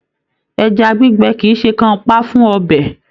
Ẹja gbígbẹ kìí ṣe kanpa fún ọbẹ.